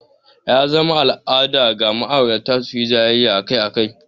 Ya zama al'ada ga ma'aurata su yi jayayya akai-akai.